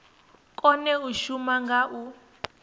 kone u shuma nga u